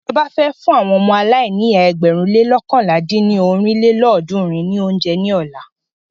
Ìjọba fẹ́ fún àwọn ọmọ aláìníyá ẹgbẹ̀rún le loókànlá dín ní ọ́rin lélọ́ọ̀dúnrún ní óúnjẹ ní ọ̀la.